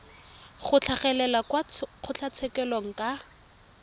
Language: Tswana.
go tlhagelela kwa kgotlatshekelo ka